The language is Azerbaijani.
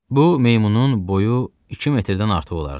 Bu meymunun boyu iki metrdən artıq olardı.